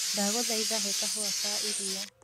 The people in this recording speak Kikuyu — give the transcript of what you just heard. ndagũthaĩtha he kahũa ka ĩrĩa